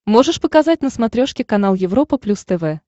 можешь показать на смотрешке канал европа плюс тв